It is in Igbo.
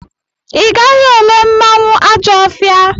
Ị gaghị ele mmanwụ Ajọfia!